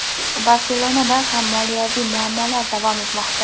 "Barselona"da ham moliyaviy muammolar davom etmoqda.